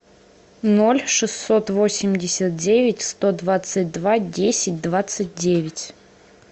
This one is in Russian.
ноль шестьсот восемьдесят девять сто двадцать два десять двадцать девять